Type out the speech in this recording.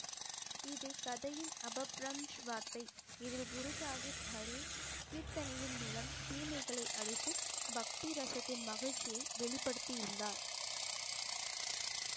இது கதையின் வார்த்தை இதில் குரு சாஹிப் ஹரி கீர்த்தனையின் மூலம் தீமைகளை அழித்து பக்தி ரசத்தின் மகிழ்ச்சியை வெளிப்படுத்தியுள்ளார்